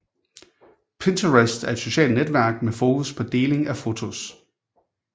Pinterest er et socialt netværk med fokus på deling af fotos